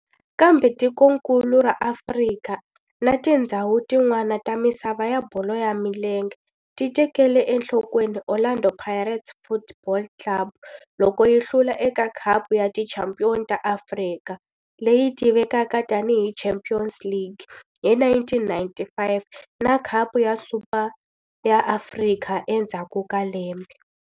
Kambe tikonkulu ra Afrika na tindzhawu tin'wana ta misava ya bolo ya milenge ti tekele enhlokweni Orlando Pirates Football Club loko yi hlula eka Khapu ya Tichampion ta Afrika, leyi tivekaka tani hi Champions League, hi 1995 na Khapu ya Super ya Afrika endzhaku ka lembe.